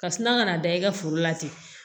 Kasuna ka na da i ka foro la ten